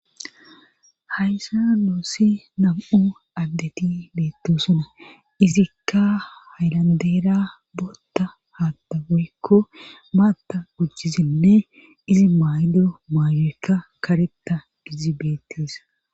Haysa noossi nam'u addeti beettosuna izikka haylandeera bootta haatta goykko maatta gujjizinne izi maydo maayoykka karetta gizibeettesa.